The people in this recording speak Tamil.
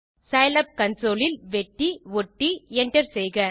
சிலாப் கன்சோல் ல் வெட்டி ஒட்டி Enter செய்க